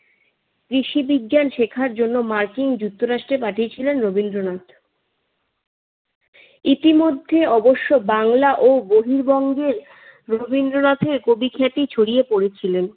কৃষিবিজ্ঞান শেখার জন্য মার্কিন যুক্তরাষ্ট্রে পাঠিয়েছিলেন রবীন্দ্রনাথ। ইতিমধ্যে বাংলা ও বহির্বঙ্গের রবীন্দ্রনাথের কবি খ্যাতি ছড়িয়ে পড়েছিল।